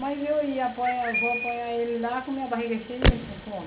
Mas eu ia apoiar, vou apoiar ele lá com minha barriga cheia e ele com fome